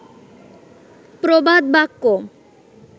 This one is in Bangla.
প্রবাদ বাক্য